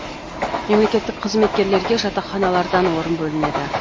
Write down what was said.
мемлекеттік қызметкерлерге жатақханалардан орын бөлінеді